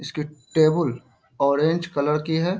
इसकी टेबुल ओंरेज कलर की हैं।